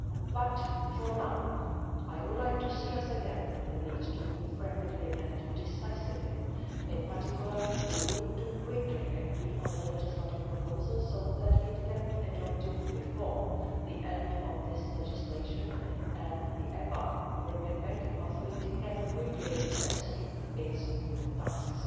But, for now, I would again like to stress the need to move rapidly and decisively. In particular we need to quickly agree on the legislative proposal so that it can be adopted before the end of this term and the European Banking Authority can quickly assume its new tasks,